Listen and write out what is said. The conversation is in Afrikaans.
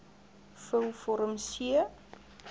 vul vorm c